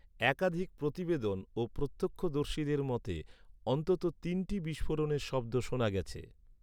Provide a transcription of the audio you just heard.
একাধিক প্রতিবেদন ও প্রত্যক্ষদর্শীদের মতে, অন্তত তিনটি বিস্ফোরণের শব্দ শোনা গেছে।